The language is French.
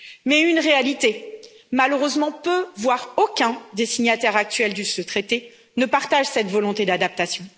Mais une réalité malheureusement peu voire aucun des signataires actuels de ce traité ne partagent cette volonté d'adaptation.